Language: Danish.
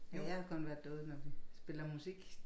Ja jeg har kun været derude når vi spiller musik